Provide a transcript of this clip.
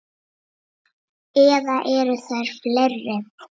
Eða eru þær fleiri?